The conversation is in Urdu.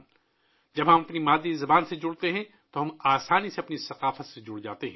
جب ہم اپنی مادری زبان سے جڑتے ہیں تو قدرتی طور پر ہم اپنی ثقافت سے جڑ جاتے ہیں